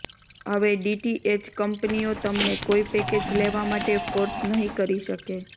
હવે ડીટીએચ કંપનીઓ તમને કોઈ પેકેજ લેવા માટે ફોર્સ નહી કરી શકે